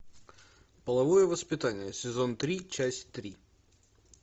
половое воспитание сезон три часть три